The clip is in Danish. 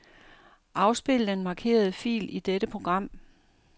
Afspil den markerede fil i dette program.